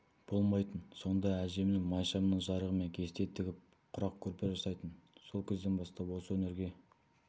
болмайтын сонда әжем майшамның жарығымен кесте тігіп құрақ көрпе жасайтын сол кезден бастап осы өнерге